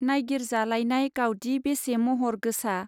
नाइगिरजालायनाय गावदि बेसे महर गोसा !